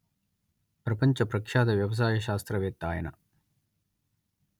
ప్రపంచ ప్రఖ్యాత వ్యవసాయ శాస్త్రవేత్త ఆయన